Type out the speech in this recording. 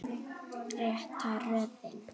Rétta röðin.